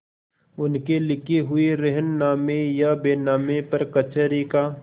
उनके लिखे हुए रेहननामे या बैनामे पर कचहरी का